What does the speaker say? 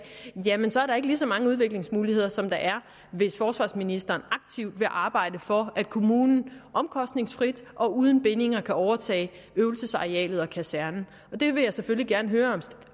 jamen så er der ikke lige så mange udviklingsmuligheder som der er hvis forsvarsministeren aktivt vil arbejde for at kommunen omkostningsfrit og uden bindinger kan overtage øvelsesarealet og kasernen og det vil jeg selvfølgelig gerne høre